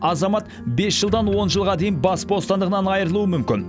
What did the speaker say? азамат бес жылдан он жылға дейін бас бостандығынан айырылуы мүмкін